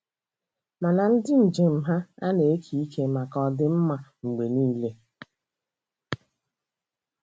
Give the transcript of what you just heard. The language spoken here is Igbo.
Mana ndị njem ha ana-eke ike maka ọ dị mma Mgbe niile?